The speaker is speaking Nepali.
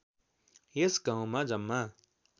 यस गाउँमा जम्मा